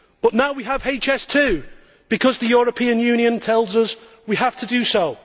But now we have HS2, because the European Union tells us we have to do so.